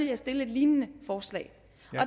jeg stille et lignende forslag